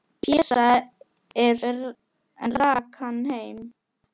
Pésa, en rak hann heim.